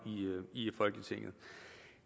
i folketinget